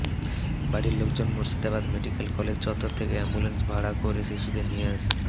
বাড়ির লোকজন Murshidabad medical college চত্বর থেকে অ্যাম্বুল্যান্স ভাড়া করে শিশুটিকে নিয়ে